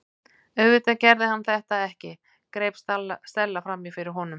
Auðvitað gerði hann þetta ekki- greip Stella fram í fyrir honum.